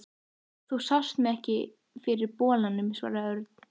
Þú sást mig bara ekki fyrir bolanum, svaraði Örn.